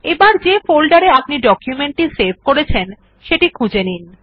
এবার যে ফোল্ডার এ আপনি ডকুমেন্ট টি সেভ করেছেন সেটি খুঁজে নিন